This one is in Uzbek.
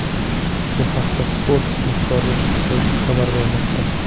Bu haqda Sports.Ru sayti xabar bermoqda.